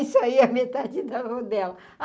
Saia a metade da rodela.